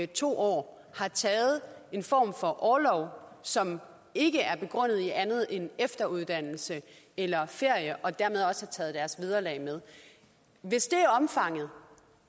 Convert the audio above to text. to år har taget en form for orlov som ikke er begrundet i andet end efteruddannelse eller ferie og dermed også taget deres vederlag med hvis det er omfanget